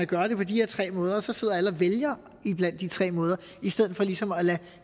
gøre det på de her tre måder og så sidder og vælger iblandt de tre måder i stedet for ligesom at lade